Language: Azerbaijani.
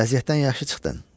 Vəziyyətdən yaxşı çıxdın.